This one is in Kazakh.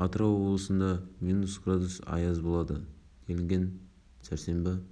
хабарлады төтенше жағдай комитетінің